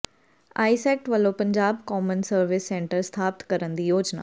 ਆਈਸੈਕਟ ਵੱਲੋਂ Punjab common service centre ਸਥਾਪਤ ਕਰਨ ਦੀ ਯੋਜਨਾ